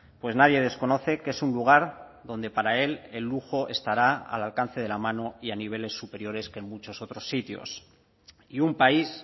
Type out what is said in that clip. pues nadie desconoce que es un lugar donde para él el lujo estará al alcance de la mano y a niveles superiores que en muchos otros sitios y un país